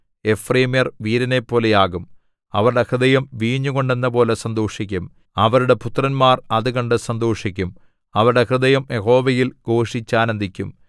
എഫ്രയീമ്യർ വീരനെപ്പോലെയാകും അവരുടെ ഹൃദയം വീഞ്ഞുകൊണ്ടെന്നപോലെ സന്തോഷിക്കും അവരുടെ പുത്രന്മാർ അത് കണ്ട് സന്തോഷിക്കും അവരുടെ ഹൃദയം യഹോവയിൽ ഘോഷിച്ചാനന്ദിക്കും